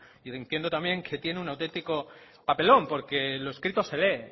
y entiendo también que tiene un autentico papelón porque lo escrito se lee